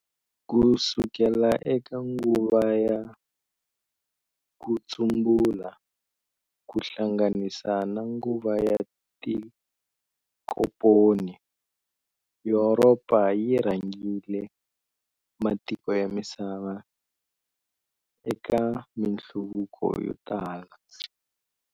Kusukela eka nguva ya kutsumbula, ku hlanganisa na nguva ya tinkomponi, Yuropa yi rhangerile matiko ya misava eka minhluvuko yo tala.